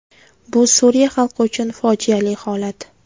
Bu Suriya xalqi uchun fojiali holat”.